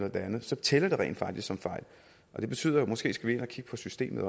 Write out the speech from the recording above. og det andet så tæller det rent faktisk som fejl det betyder at vi måske skal ind og kigge på systemet